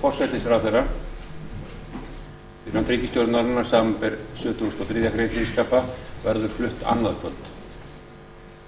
forsætisráðherra fyrir hönd ríkisstjórnarinnar samanber sjötugasta og þriðju greinar þingskapa verður flutt annað kvöld